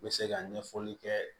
N bɛ se ka ɲɛfɔli kɛ